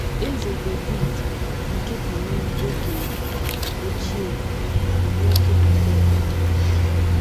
Eze Devid nke Benin oge ochie bụ nwoke na - ekpe ekpere.